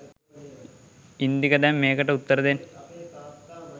ඉන්දික දැන් මේකට උත්තර දෙන්න